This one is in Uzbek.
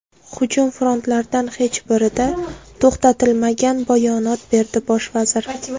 Hujum frontlardan hech birida to‘xtatilmagan”, bayonot berdi bosh vazir.